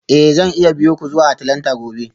Eh zan iya biyo ku zuwa Atlanta gobe